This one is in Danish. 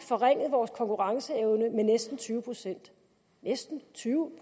forringet vores konkurrenceevne med næsten tyve procent næsten tyve